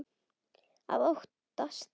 Að óttast!